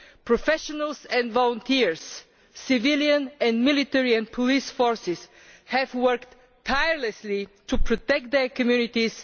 Professionals and volunteers, civilians, the military and police forces have worked tirelessly to protect their communities.